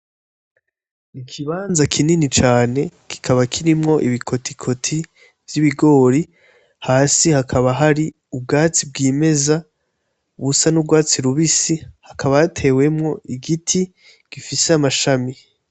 Ikibanza kinini cane kikaba kirimwo ibikoti koti, vy'ibigori, hasi hakaba hari ubwatsi bwimeza busa n'urwatsi rubisi, hakaba hatewemwo igiti gifise amashami.